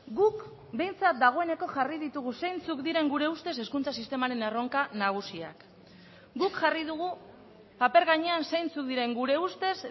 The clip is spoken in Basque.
guk behintzat dagoeneko jarri ditugu zeintzuk diren gure ustez hezkuntza sistemaren erronka nagusiak guk jarri dugu paper gainean zeintzuk diren gure ustez